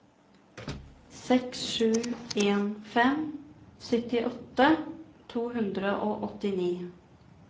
seks sju en fem syttiåtte to hundre og åttini